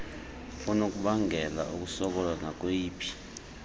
okunokubangela ukusokola nakweyiphi